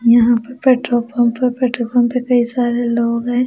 यहां पर petrol pump है पेट्रोल पंपल कई सारे लोग हैं ।